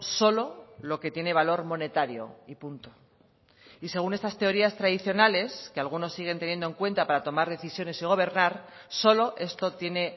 solo lo que tiene valor monetario y punto y según estas teorías tradicionales que algunos siguen teniendo en cuenta para tomar decisiones y gobernar solo esto tiene